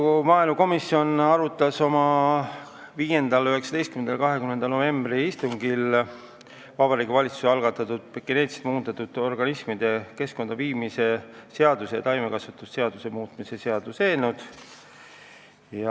Riigikogu maaelukomisjon arutas oma 5., 19., 20. novembri istungil Vabariigi Valitsuse algatatud geneetiliselt muundatud organismide keskkonda viimise seaduse ja taimekaitseseaduse muutmise seaduse eelnõu.